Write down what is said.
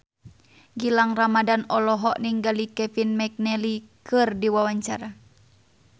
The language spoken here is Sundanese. Gilang Ramadan olohok ningali Kevin McNally keur diwawancara